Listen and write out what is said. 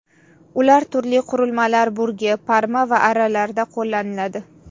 Ular turli qurilmalar burgi, parma va arralarda qo‘llaniladi.